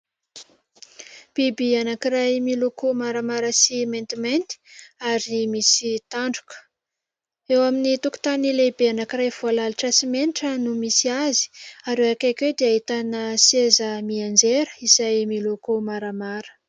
Biby anankiray miloko maramara sy maintimainty ary misy tandroka. Eo amin'ny tokotany lehibe anankiray voalalitra simenitra no misy azy ary eo akaiky oe dia ahitana seza mianjera izay miloko maramara.